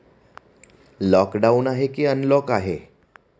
Lockdown आहे की unlock आहे?